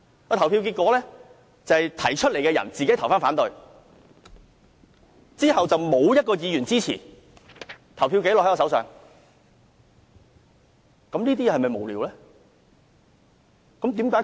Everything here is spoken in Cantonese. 表決結果顯示，提出議案的人自己表決反對，沒有任何一位議員支持，表決紀錄就在我手上。